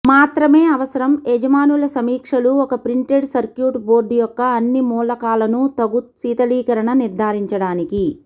మాత్రమే అవసరం యజమానుల సమీక్షలు ఒక ప్రింటెడ్ సర్క్యూట్ బోర్డ్ యొక్క అన్ని మూలకాలను తగు శీతలీకరణ నిర్ధారించడానికి